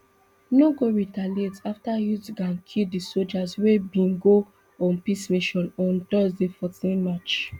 no go retaliate afta youth gang kill di sojas wey bin go on peace mission on thursday fourteen march